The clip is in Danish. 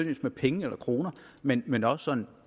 med penge men men også sådan